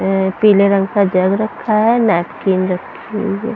अअ पीले रंग का जग रखा है नैपकिन रखी हुई है।